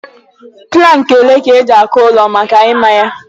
Plankị olee ka eji-akụ ụlọ maka ịmá ya?